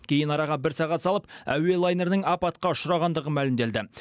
кейін араға бір сағат салып әуе лайнерінің апатқа ұшырағандығы мәлімделді